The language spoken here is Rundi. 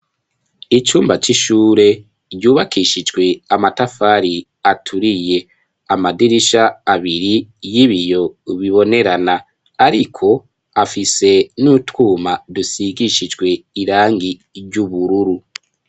Icumba c'ishure ryubakishijwe amatafari aturiye. Amadirisha abiri y'ibiyo bibonerana, ariko afise n'utwuma dusigishijwe irangi ry'ubururu.